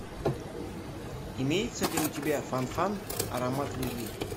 имеется ли у тебя фан фан аромат любви